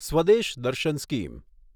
Swadesh Darshan scheme